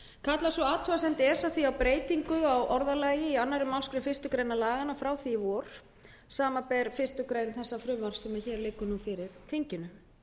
kallar sú athugasemd esa því á breytingu á orðalagi í annarri málsgrein fyrstu grein laganna frá því í vor samanber fyrstu grein þessa frumvarps sem hér liggur nú fyrir þinginu